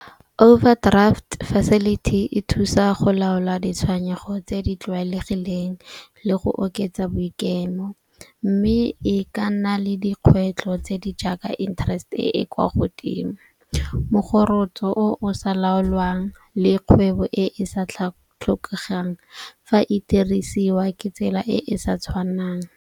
Overdraft facility e thusa go laola ditshwenyego tse di tlwaelegileng le go oketsa boikemo. Mme e ka nna le dikgwetlho tse di jaaka interest-e e kwa godimo, mogorokotso o o sa laolwang le kgwebo e e sa tlhokegang fa e dirisiwa ke tsela e e sa tshwanang.